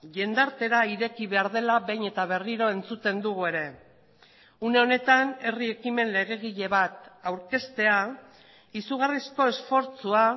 jendartera ireki behar dela behin eta berriro entzuten dugu ere une honetan herri ekimen legegile bat aurkeztea izugarrizko esfortzua